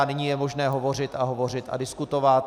A nyní je možné hovořit a hovořit a diskutovat.